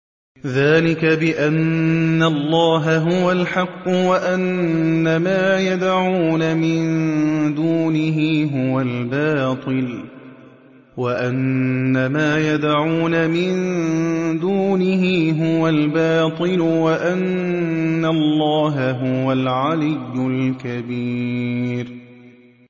ذَٰلِكَ بِأَنَّ اللَّهَ هُوَ الْحَقُّ وَأَنَّ مَا يَدْعُونَ مِن دُونِهِ هُوَ الْبَاطِلُ وَأَنَّ اللَّهَ هُوَ الْعَلِيُّ الْكَبِيرُ